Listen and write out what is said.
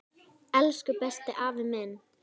Elsku besti, afi minn.